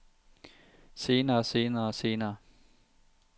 senere senere senere